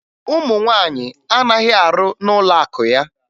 Ụmụ nwaanyị anaghị arụ n'ụlọakụ ya